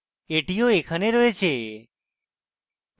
এটিও এখানে রয়েছে